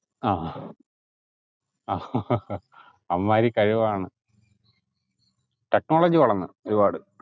ആഹ് ആഹ് ആ അമ്മാതിരി കഴിവാണ് technology വളർന്ന് ഒരുപാട്